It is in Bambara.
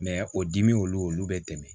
o dimi olu bɛ dɛmɛ